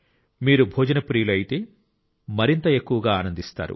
మీరు భోజన ప్రియులు అయితే మీరు మరింత ఎక్కువగా ఆనందిస్తారు